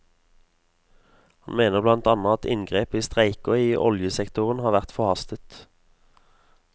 Han mener blant annet at inngrep i streiker i oljesektorene har vært forhastet.